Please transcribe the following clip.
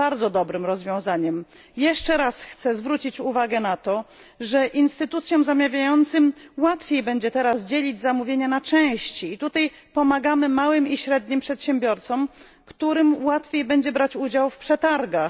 Po trzecie, chcę zwrócić uwagę na fakt, że instytucjom zamawiającym łatwiej będzie teraz dzielić zamówienia na części i tutaj pomagamy małym i średnim przedsiębiorstwom, którym łatwiej będzie brać udział w przetargach.